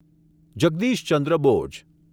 Jagdish Chandra Bose